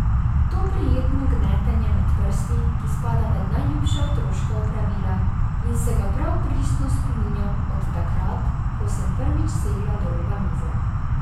To prijetno gnetenje med prsti, ki spada med najljubša otroška opravila in se ga prav pristno spominjam od takrat, ko sem prvič segla do roba mize.